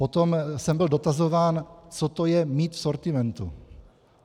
Potom jsem byl dotazován, co to je mít v sortimentu.